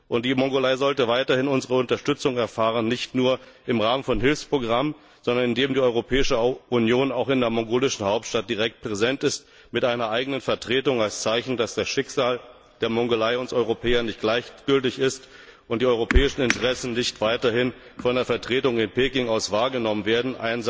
Die Mongolei sollte weiterhin unsere Unterstützung erfahren, nicht nur im Rahmen von Hilfsprogrammen, sondern indem die Europäische Union auch in der mongolischen Hauptstadt direkt präsent ist mit einer eigenen Vertretung als Zeichen, dass das Schicksal der Mongolei uns Europäern nicht gleichgültig ist und die europäischen Interessen nicht weiterhin von einer Vertretung in Peking aus wahrgenommen werden.